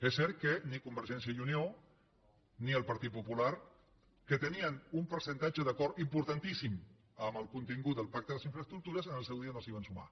és cert que ni convergència i unió ni el partit popular que tenien un percentatge d’acord importantíssim en el contingut del pacte de les infraestructures en el seu dia no s’hi van sumar